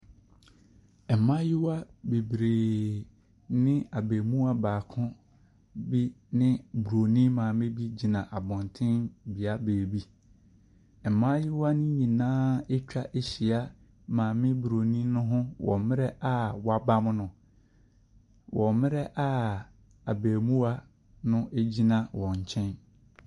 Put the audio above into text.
Mmayewa bebree ne abarimaa baako bi ne Bronin maame bi gyina abɔnten bea baabi. Mmayewa no nyinaa atwa ahyia maame Bronin a wɔabam no, wɔ mmerɛ a abarimaa no gyina wɔn nkyɛn.